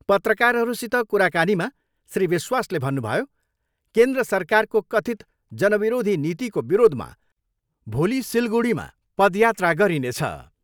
पत्रकारहरूसित कुराकानीमा श्री विश्वासले भन्नुभयो, केन्द्र सरकारको कथित् जनविरोधी नीतिको विरोधमा भोली सिलगुढीमा पदयात्रा गरिनेछ।